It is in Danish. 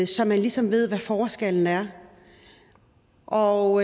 så man ligesom ved hvad forskellen er og